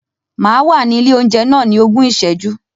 Màá wà ní ilé oúnjẹ náà ní ogún ìsẹ́jú.